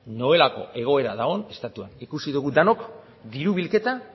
nolako egoera dagon estatuan ikusi dugu denok diru bilketa